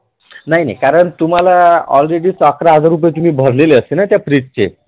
नाही नाही कारण तुम्हाला already तो अकरा हजार दिले भरलेले असते ना त्या fridge चे